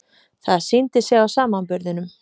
Það sýndi sig á samanburðinum.